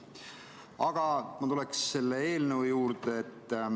Aga ma tulen selle eelnõu juurde.